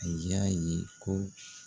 A y'a ye ko